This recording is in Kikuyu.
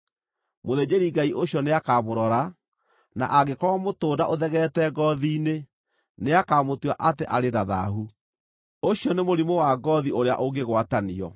Mũthĩnjĩri-Ngai ũcio nĩakamũrora, na angĩkorwo mũtũnda ũthegeete ngoothi-inĩ, nĩakamũtua atĩ arĩ na thaahu; ũcio nĩ mũrimũ wa ngoothi ũrĩa ũngĩgwatanio.